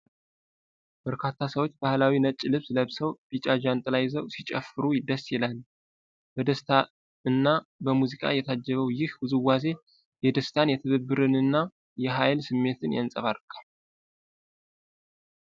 በርካታ ሰዎች ባህላዊ ነጭ ልብስ ለብሰው፣ ቢጫ ጃንጥላ ይዘው ሲጨፍሩ ደስ ይላሉ። በደስታ እና በሙዚቃ የታጀበው ይህ ውዝዋዜ የደስታን፣ የትብብርንና የኃይል ስሜትን ያንጸባርቃል።